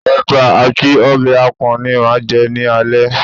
Ẹ̀bà àti ọbẹ̀ àpọ̀n ni màá jẹ́ ní alẹ́